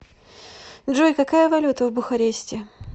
джой какая валюта в бухаресте